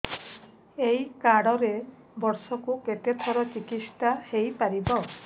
ଏଇ କାର୍ଡ ରେ ବର୍ଷକୁ କେତେ ଥର ଚିକିତ୍ସା ହେଇପାରିବ